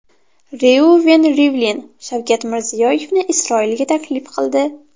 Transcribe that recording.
Reuven Rivlin Shavkat Mirziyoyevni Isroilga taklif qildi.